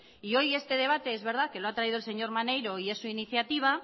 y hoy este debate es verdad que lo ha traído el señor maneiro y es su iniciativa